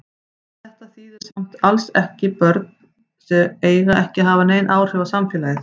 Þetta þýðir samt alls ekki börn eiga ekki að hafa nein áhrif á samfélagið.